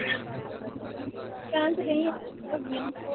ਕਹਿਣ ਤੇ ਡਈ ਆ .